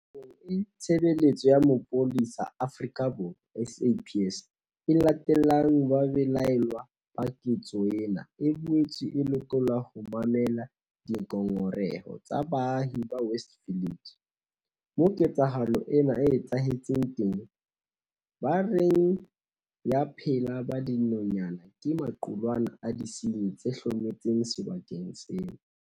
Nakong eo Tshebeletso ya Mapolesa Afrika Borwa, SAPS, e latellang babelaellwa ba ketso ena, e boetse e lokela ho mamela dingongoreho tsa baahi ba West Village, moo ketsahalo ena e etsahetseng teng, ba reng ba phela ba dinonyana ke maqulwana a disenyi tse hlometseng sebakeng seo.